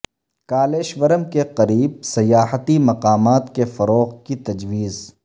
کالیشورم کے قریب سیاحتی مقامات کے فروغ کی تجویز